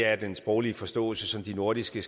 at den sproglige forståelse de nordiske